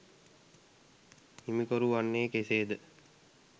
හිමිකරු වන්නේ කෙසේද?